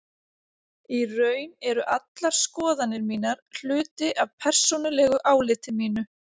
Í raun eru allar skoðanir mínar hluti af persónulegu áliti mínu.